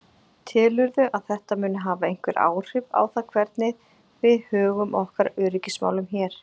Telurðu að þetta muni hafa einhver áhrif á það hvernig við högum okkar öryggismálum hér?